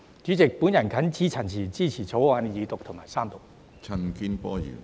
主席，我謹此陳辭，支持《條例草案》二讀及三讀。